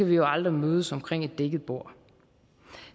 vi jo aldrig mødes omkring et dækket bord